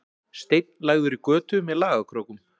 Steinn lagður í götu með lagakrókum